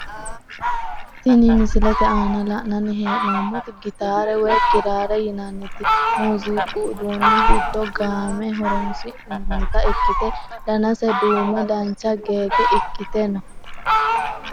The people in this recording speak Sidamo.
Tini misilete aana la`nani heenomoti gitaare woyi kiraare yinaniti muuziqu uduuni giddo gaame horonsinanita ikite danase duume dancha gege ikite no.